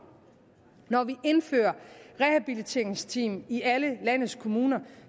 når vi indfører rehabiliteringsteam i alle landets kommuner